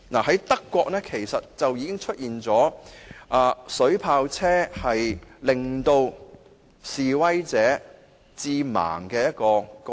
在德國，曾有水炮車令示威者致盲的嚴重個案。